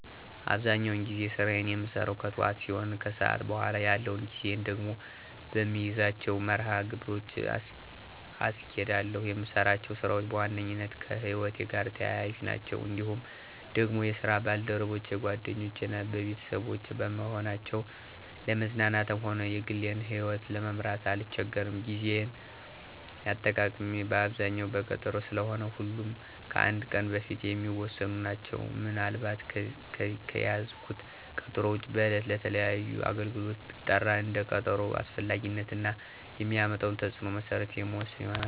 አብዛኛውን ጊዜ ስራየን የምሰራው ከጥዋት ሲሆን ከሰዓት በኋላ ያለውን ጊዜየን ደግሞ በምይዛቸው መርሀ ግብሮች አስኬዳለሁ። የምሰራቸው ስራዎች በዋነኛነት ከህይወቴ ጋር ተያያዥ ናቸው። እንዲሁም ደግሞ የስራ ባልደረቦቼ ጓደኞቼ እና ቤተሰቦቼ በመሆናቸው ለመዝናናትም ሆነ የግሌን ይህወት ለመምራት አልቸገርም። የጌዜ አጠቃቀሜ አብዛኛው በቀጠሮ ስለሆነ ሁሉም ከአንድ ቀን በፊት የሚወሰኑ ናቸው። ምን አልባት ከያዝኩት ቀጠሮ ውጭ በዕለት ለተለያዩ አገልግሎት ብጠራ እንደ ቀጠሮው አስፈላጊነት እና የሚያመጣው ተፅዕኖ መሰረት የምወስን ይሆናል።